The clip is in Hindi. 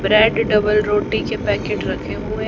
ब्रेड डबल रोटी के पैकेट रखे हुए--